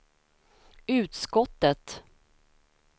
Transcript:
utskottet